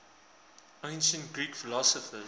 ancient greek philosophers